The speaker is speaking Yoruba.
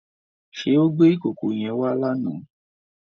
Ṣé o gbé ìkòkò yẹn wá lánàá?